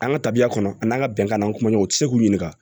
An ka tabiya kɔnɔ an n'an ka bɛnkan n'an kuma ɲɔgɔn u tɛ se k'u ɲininka